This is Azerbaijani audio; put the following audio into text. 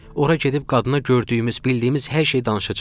Ora gedib qadına gördüyümüz, bildiyimiz hər şeyi danışacam.